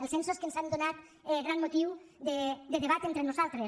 els censos que ens han donat gran motiu de debat entre nosaltres